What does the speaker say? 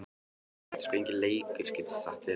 Nei, þetta er sko enginn leikur, get ég sagt þér.